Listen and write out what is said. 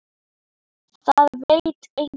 Það veit enginn.